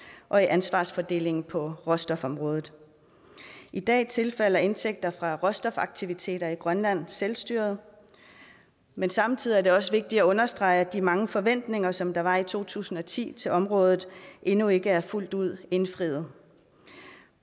og i ansvarsfordelingen på råstofområdet i dag tilfalder indtægter fra råstofaktiviteter i grønland selvstyret men samtidig er det også vigtigt at understrege at de mange forventninger som der var i to tusind og ti til området endnu ikke er fuldt ud indfriet